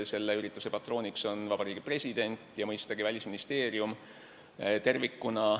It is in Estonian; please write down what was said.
Selle ürituse patroonid on Vabariigi President ja mõistagi Välisministeerium.